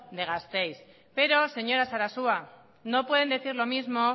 de gasteiz pero señora sarasua no pueden decir lo mismo